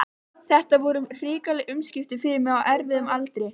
Þetta voru hrikaleg umskipti fyrir mig á erfiðum aldri.